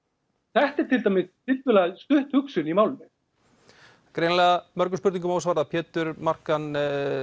þetta er til dæmis tiltölulega stutt hugsun í málinu greinilega mörgum spurningum ósvarað Pétur Markan